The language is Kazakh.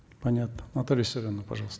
понятно наталья виссарионовна пожалуйста